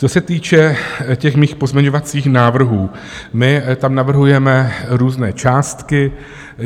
Co se týče těch mých pozměňovacích návrhů, my tam navrhujeme různé částky.